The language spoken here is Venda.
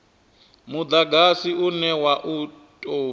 mudagasi une wa u tou